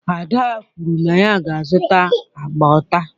Ada kwuru na ya ga-azụta agba taa.